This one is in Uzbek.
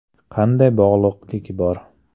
Qanday bog‘liqlik bor?